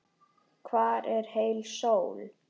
Hvar er heil sól?